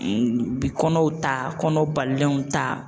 Bi kɔnɔw ta, kɔnɔ balilenw ta.